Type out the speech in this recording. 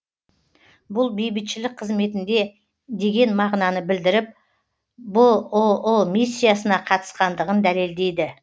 бұл бейбітшілік қызметінде деген мағынаны білдіріп бұұ миссиясына қатысқандығын дәлелдейді